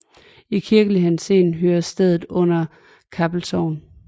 I kirkelig henseende hører stedet under Kappel Sogn